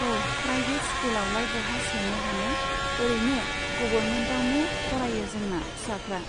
औ private school आवलाय बहा सोनो हानो ओरैनो गभर्नमेन्तआवनो फरायो जोंना फिसाफ्रा।